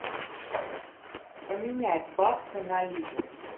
поменять баксы на ливр